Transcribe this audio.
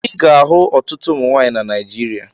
Ị ga-ahụ ọtụtụ ụmụ nwaanyị na Naijiria.